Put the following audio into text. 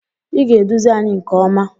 Ị ga-eduzi anyị nke ọma!